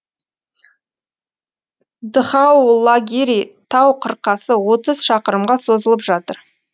дхаулагири тау қырқасы отыз шақырымға созылып жатыр